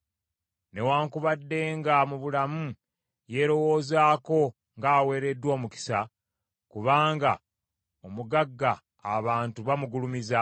Newaakubadde nga mu bulamu yeerowoozaako ng’aweereddwa omukisa kubanga omugagga abantu bamugulumiza,